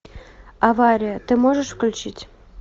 авария ты можешь включить